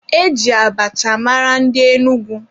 E ji abacha mara ndị Enugwu.